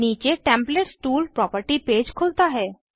नीचे templates tool property page खुलता है